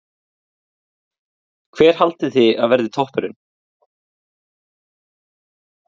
Gísli: Hver haldið þið að verði toppurinn?